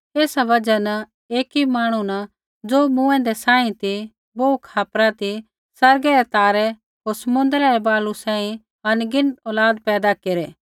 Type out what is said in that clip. ऐसा बजहा न एकी मांहणु न ज़ो मूँऐंदै सांही ती बोहू खापरा ती आसमानै रै तारै होर समुद्रै रै बालू सांही अनगिनत औलाद पैदा केरै